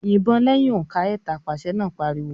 "Yìbọn lẹ́yìn òǹkà ẹ̀ta!" Pàṣẹ náà pariwo.